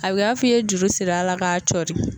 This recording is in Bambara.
A bɛ kɛ i b'a fɔ i ye juru siri ala k'a cɔri.